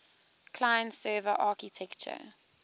client server architecture